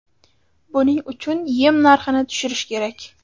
Buning uchun yem narxini tushirish kerak.